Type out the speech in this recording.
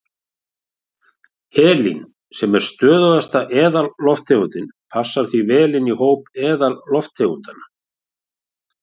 Helín, sem er stöðugasta eðallofttegundin, passar því vel inn í hóp eðallofttegundanna.